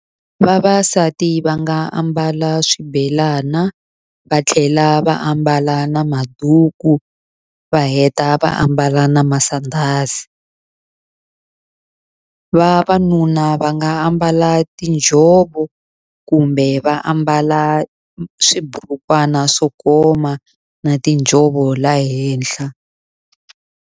Vavasati va nga a mbala swibelana, va tlhela va ambala na maduku, va heta va ambala na masandhazi. Vavanuna va nga ambala tinjhovo, kumbe va ambala swiburukwana swo koma na tinjhovo laha henhla.